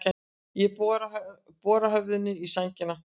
Ég bora höfðinu í sængina.